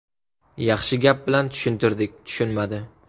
Yaxshi gap bilan tushuntirdik, tushunmadi.